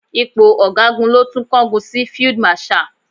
Ipò Ọ̀gágun ló tún kángun sí Field Marshal.